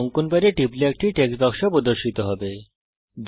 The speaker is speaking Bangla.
অঙ্কন প্যাডের উপর টিপুন একটি টেক্সট বাক্স প্রদর্শিত হবে